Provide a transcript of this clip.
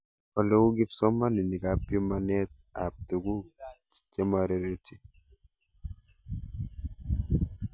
Ole uu kipsomanik ak pimanet ab tuguk chematereti